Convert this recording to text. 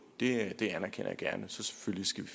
det det anerkender jeg gerne så selvfølgelig skal